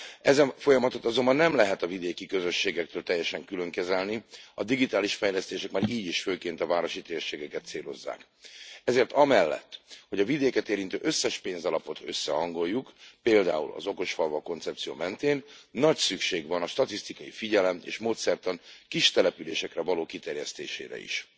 Ezen folyamatot azonban nem lehet a vidéki közösségektől teljesen külön kezelni a digitális fejlesztések már így is főként a városi térségeket célozzák. Ezért amellett, hogy a vidéket érintő összes pénzalapot összehangoljuk például az okosfalvak koncepció mentén nagy szükség van a statisztikai figyelem és módszertan kistelepülésekre való kiterjesztésére is.